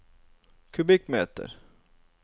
kubikkmeter